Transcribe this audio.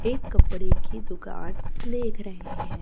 एक कपड़े की दुकान देख रहे हैं।